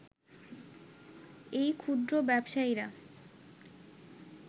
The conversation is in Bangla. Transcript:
এই ক্ষুদ্র ব্যবসায়ীরা